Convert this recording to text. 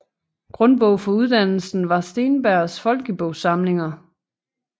Grundbog for uddannelsen var Steenbergs Folkebogsamlinger